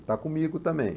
Está comigo também.